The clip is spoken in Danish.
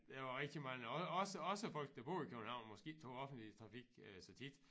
Der var rigtig mange og også også folk der boede i København måske ikke tog offentlig trafik øh så tit